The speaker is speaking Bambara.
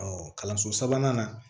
kalanso sabanan na